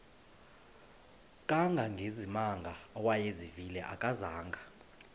kangangezimanga awayezivile akazanga